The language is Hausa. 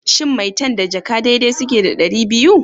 Shin maitan da jaka dai dai suke da ɗari biyu?